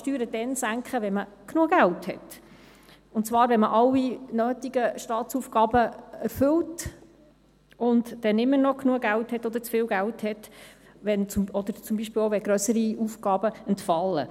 Man kann Steuern dann senken, wenn man genug Geld hat, und zwar, wenn man alle nötigen Stabsaufgaben erfüllt und dann immer noch Geld oder zu viel Geld hat, oder zum Beispiel auch, wenn grössere Aufgaben entfallen.